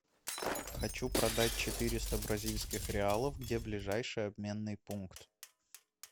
хочу продать четыреста бразильских реалов где ближайший обменный пункт